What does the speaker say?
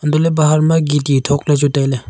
anto le bahar ma gitti thokla chu taile.